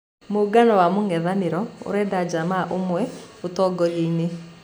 Muugano wa mũng'ethaniro urenda Jammeh aume ũtongoria-inĩ.